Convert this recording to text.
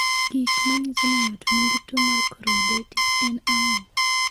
Gik manyiso ni ng'ato nigi tuo mar choroiditis en ang'o?